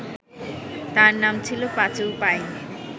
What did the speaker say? তার নাম ছিল পাঁচু পাইন